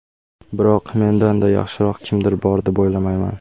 Biroq mendan-da yaxshiroq kimdir bor deb o‘ylamayman.